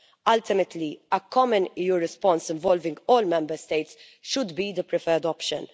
Ultimately, a common EU response involving all Member States should be the preferred option.